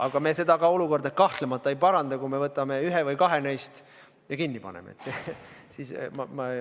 Aga me seda olukorda kahtlemata ei paranda, kui me võtame neist ühe või kaks ja paneme kinni.